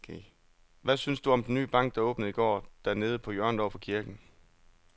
Hvad synes du om den nye bank, der åbnede i går dernede på hjørnet over for kirken?